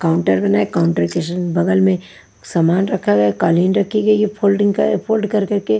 counter बनाए counter के इस बगल में सामान रखा गया कालीन रखी गई है फोल्डिंग का फोल्ड कर कर के--